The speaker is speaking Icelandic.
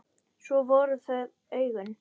Svo voru það augun.